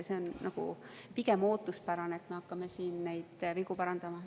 See on pigem ootuspärane, et me hakkame vigu parandama.